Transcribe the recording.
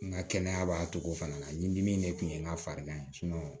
N ka kɛnɛya b'a cogo fana na ɲidimi in de kun ye n ka farigan ye